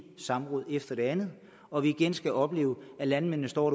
samråd efter det andet og vi igen skal opleve at landmændene står